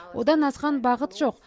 одан асқан бақыт жоқ